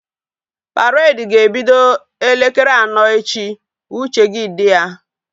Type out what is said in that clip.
Paredi ga-ebido elekere anọ echi! Uche gị dị ya